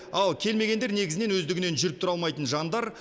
ал келмегендер негізінен өздігінен жүріп тұра алмайтын жандар